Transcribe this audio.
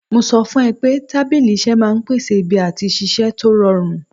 Mo sọ fún ẹ pé tábìlì iṣẹ́ máa ń pèsè ibi àti ṣiṣẹ́ tó rọrùn